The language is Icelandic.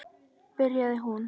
byrjaði hún.